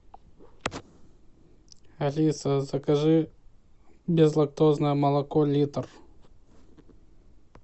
алиса закажи безлактозное молоко литр